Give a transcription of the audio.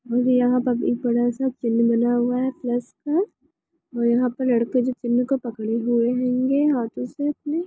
और यहाँ पर एक बड़ा सा चिन्ह बना हुआ है प्लस यहाँ पर लड़के जो चिन्ह को पकड़े हुए हेंगे हाथों